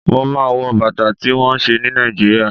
Mo máa ń wọ̀ Bàtà tí wón ṣe ní Nàìjíríà.